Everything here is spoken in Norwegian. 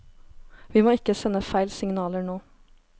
Vi må ikke sende feil signaler nå.